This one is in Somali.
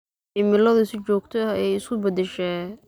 Cimiladu si joogto ah ayay isu beddeshaa.